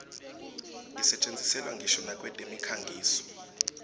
isetjentiselwa ngisho nakwetemikhangiso